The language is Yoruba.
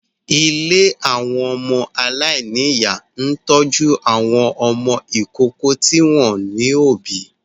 Ilé àwọn ọmọ aláìníyà ń tọ́jú àwọn ọmọ ìkókó tí wọ́n ò lóbìí